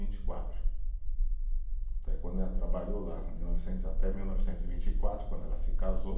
Vinte e quatro, quando ela trabalhou lá, em mil novecentos, até mil novecentos e vinte e quatro, quando ela se casou.